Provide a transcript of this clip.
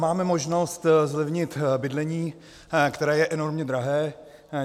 Máme možnost zlevnit bydlení, které je enormně drahé.